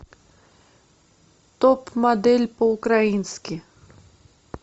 топ модель по украински